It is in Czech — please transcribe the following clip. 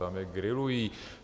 Tam je grilují.